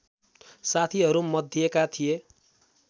साथीहरू मध्येका थिए